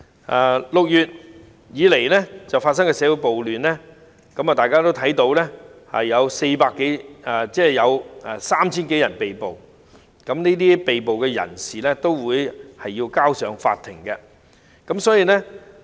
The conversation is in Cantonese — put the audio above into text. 由6月開始至今的社會暴亂，大家也知道已有 3,000 多人被捕，而這些被捕人士將會交由法庭處理。